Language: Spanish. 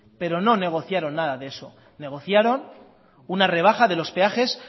pero no negociaron nada de eso negociaron una rebaja de los peajes